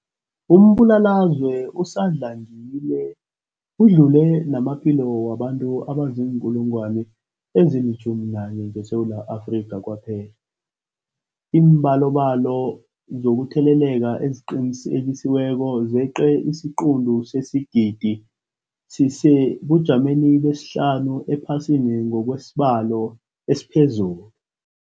Umbulalazwe usadlangile udlule namaphilo wabantu abaziinkulungwana ezi-11 ngeSewula Afrika kwaphela. Iimbalobalo zokutheleleka eziqinisekisiweko zeqe isiquntu sesigidi, sisesebujameni besihlanu ephasini ngokwesibalo esiphezulu.